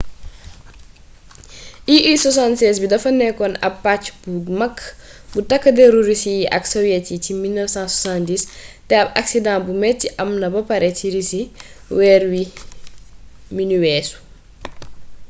ii-76 bi dafa nekkoon aab pàcc bu mag bu takk deru russe yi ak sowiet yi ci 1970 te ab akisdaa bu meti am na ba pare c russi weer wi nu weesu